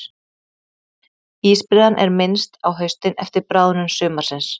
Ísbreiðan er minnst á haustin eftir bráðnun sumarsins.